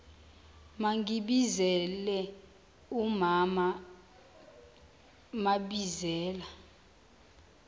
ningibizele umaam mabizela